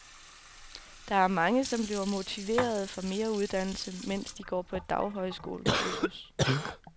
Der er mange, som bliver motiverede for mere uddannelse, mens de går på et daghøjskolekursus.